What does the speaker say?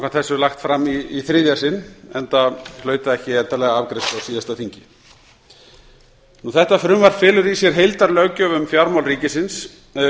þessu lagt fram í þriðja sinn enda hlaut það ekki endanlega afgreiðslu á síðasta þingi frumvarpið felur í sér heildarlöggjöf um fjármál ríkisins